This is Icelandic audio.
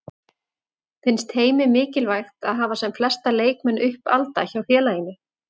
Finnst Heimi mikilvægt að hafa sem flesta leikmenn uppalda hjá félaginu?